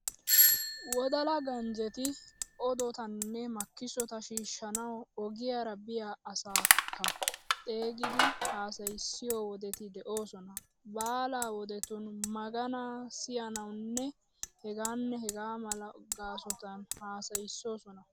Wodalla ganjjeti odotanne makkisota shiishshanawu ogiyaara biya asaakka xeegidi haasayissiyo wodeti de"oosona. Baala wodetun, maganaa siyanawunne hegaanne hegaa mala gaasotun haasayissoosona .